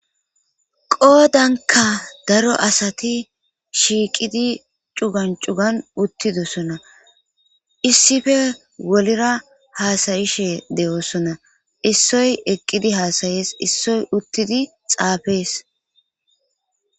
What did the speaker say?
Qoodanka daro asati shiiqidi cugan cugan uttidosona issife wolira haasayishe de7oosona issoy eqqidi haasayees issoy uttidi xaafees.